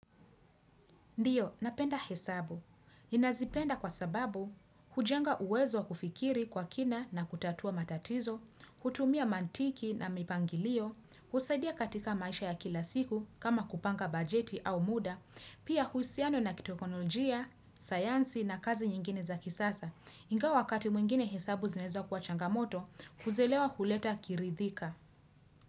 Ndiyo, napenda hesabu. Inazipenda kwa sababu, hujenga uwezo kufikiri kwa kina na kutatua matatizo, kutumia mantiki na mipangilio, kusaidia katika maisha ya kila siku kama kupanga bajeti au muda, pia kuhisiano na kitekonolojia, sayansi na kazi nyingine za kisasa. Nga wakati mwingine hesabu zinezo kwa changamoto, huzelewa kuleta kiridhika.